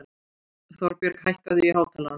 Þorbjörg, hækkaðu í hátalaranum.